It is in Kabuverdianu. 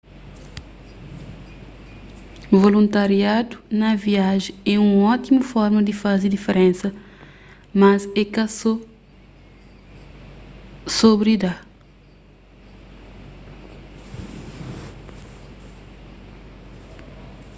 voluntariadu na viajen é un ótimu forma di faze diferensa mas é ka so sobri da